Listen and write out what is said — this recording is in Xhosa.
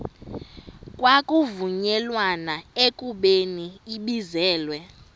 kwavunyelwana ekubeni ibizelwe